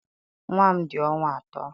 Nwa m dị ọnwa atọ.